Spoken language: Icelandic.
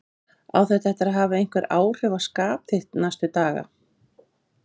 Hugrún Halldórsdóttir: Á þetta eftir að hafa einhver áhrif á þitt skap núna næstu daga?